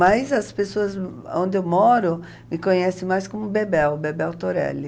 Mas as pessoas onde eu moro me conhecem mais como Bebel, Bebel Torelli.